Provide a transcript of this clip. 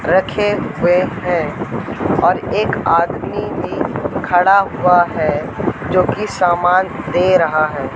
रखे हुए है और एक आदमी भी खड़ा हुआ है जोकि सामान दे रहा है।